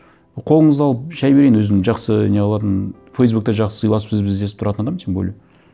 қолыңызды алып шай берейін өзім жақсы не қылатын фейсбукте жақсы сыйласып сіз біз десіп тұратын адам тем более